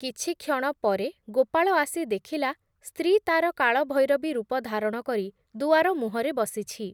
କିଛି କ୍ଷଣ ପରେ ଗୋପାଳ ଆସି ଦେଖିଲା, ସ୍ତ୍ରୀ ତା’ର କାଳ ଭୈରବୀ ରୂପ ଧାରଣ କରି ଦୁଆର ମୁହଁରେ ବସିଛି।